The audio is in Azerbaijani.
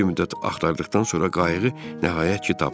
Bir müddət axtardıqdan sonra qayığı nəhayət ki, tapdıq.